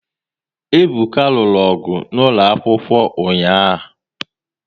Ebuka lụrụ ọgụ n'ụlọ akwụkwọ ụnyaahụ